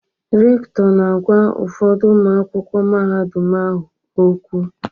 Rektọ na-agwa ụfọdụ ụmụ akwụkwọ mahadum ahụ okwu.